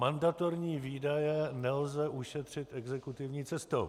Mandatorní výdaje nelze ušetřit exekutivní cestou.